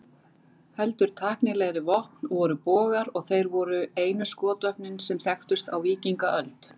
Heldur tæknilegri vopn voru bogar, og þeir voru einu skotvopnin sem þekktust á víkingaöld.